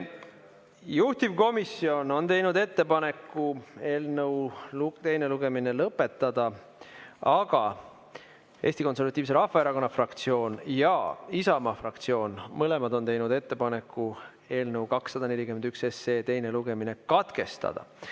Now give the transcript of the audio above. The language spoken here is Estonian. Juhtivkomisjon on teinud ettepaneku eelnõu teine lugemine lõpetada, aga Eesti Konservatiivse Rahvaerakonna fraktsioon ja Isamaa fraktsioon on mõlemad teinud ettepaneku eelnõu 241 teine lugemine katkestada.